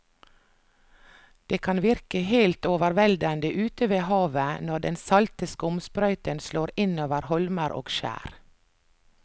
Det kan virke helt overveldende ute ved havet når den salte skumsprøyten slår innover holmer og skjær.